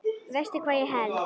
Veistu hvað ég held?